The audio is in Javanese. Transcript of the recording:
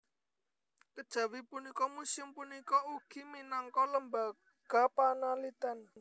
Kejawi punika muséum punika ugi minangka lembaga panaliten